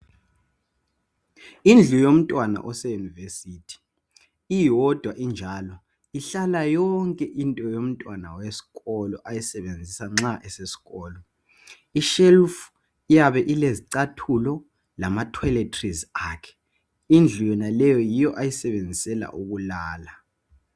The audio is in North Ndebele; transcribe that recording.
Indlu yomntwana ose yunivesithi iyodwa injalo ihlala yonke into yomntwana wesikolo ayisebenzisa nxa esesikolo i shelf iyabe ilezicathulo lama toiletries akhe indlu yonaleyo yiyo ayisebenzisela ukulala.